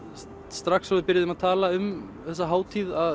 strax og við byrjuðum að tala um þessa hátíð